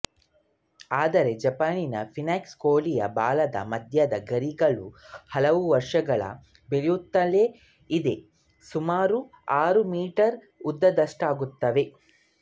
ಆದರೆ ಜಪಾನಿನ ಫೀನಿಕ್ಸ್ ಕೋಳಿಯ ಬಾಲದ ಮಧ್ಯದ ಗರಿಗಳು ಹಲವು ವರ್ಷಗಳು ಬೆಳೆಯುತ್ತಲೇ ಇದ್ದು ಸುಮಾರು ಆರು ಮೀಟರು ಉದ್ದದಷ್ಟಾಗುತ್ತವೆ